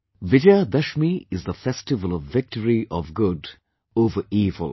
Vijaya Dashami is the festival of victory of good over evil